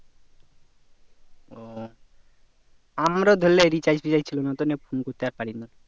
ও আমার ধরলে recharge features ছিল না তো তাই আর phone করতে আর পারিনা